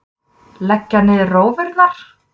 Leggja niður rófurnar!